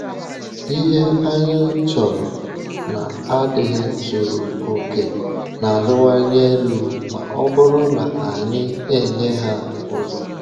Ihe anyị chọrọ na-adịghị zuru oke na-arịwanye elu ma ọ bụrụ na anyị enye ha ụzọ.